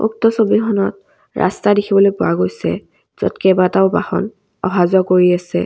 উক্ত ছবিখনত ৰাস্তা দেখিবলৈ পোৱা গৈছে য'ত কেইবাটাও বাহন অহা যোৱা কৰি আছে।